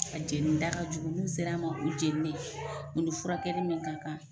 A jenn da ka jugu, n'u ser'an ma u jeninen, furakɛli min ka kan.